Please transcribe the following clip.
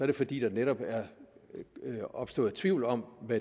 det fordi der netop er opstået tvivl om det